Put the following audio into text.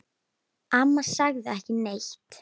Amma sagði ekki neitt.